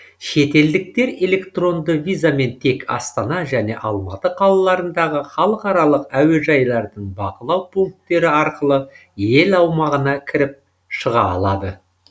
шетелдіктер электронды визамен тек астана және алматы қалаларындағы халықаралық әуежайлардың бақылау пункттері арқылы ел аумағына кіріп шыға алады